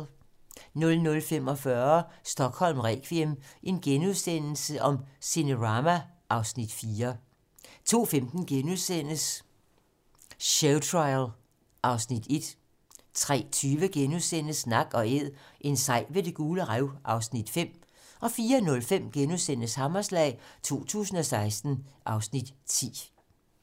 00:45: Stockholm requiem: Cinerama (Afs. 4)* 02:15: Showtrial (Afs. 1)* 03:20: Nak & æd - en sej ved Det Gule Rev (Afs. 5)* 04:05: Hammerslag 2016 (Afs. 10)*